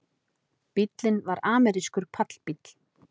Bíllinn var amerískur pallbíll